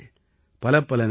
பலப்பல நன்றிகள்